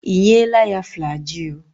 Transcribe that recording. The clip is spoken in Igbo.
Ị nyela ya Flajịl?